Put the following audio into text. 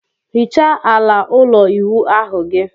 Hichaa ala ụlọ ịwụ ahu gị!